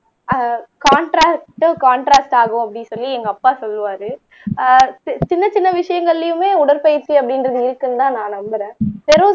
ஆஹ் contrast contract ஆகும் அப்படின்னு சொல்லி எங்க அப்பா சொல்லுவாரு ஆஹ் சின்னச் சின்ன விஷயங்களிலுமே உடற்பயிற்சி அப்படின்றது இருக்குன்னுதான் நான் நம்பறேன் பெரோஸ்